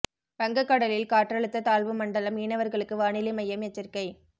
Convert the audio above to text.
வங்க கடலில் காற்றழுத்த தாழ்வு மண்டலம் மீனவர்களுக்கு வானிலை மையம் எச்சரிக்கை